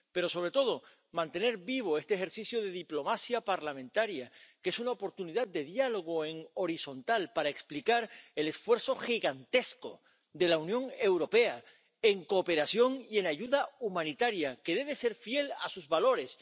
Pero, sobre todo, hay que mantener vivo este ejercicio de diplomacia parlamentaria, que es una oportunidad de diálogo horizontal para explicar el esfuerzo gigantesco de la Unión Europea en cooperación y en ayuda humanitaria, que debe ser fiel a sus valores.